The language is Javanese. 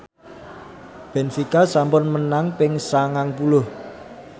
benfica sampun menang ping sangang puluh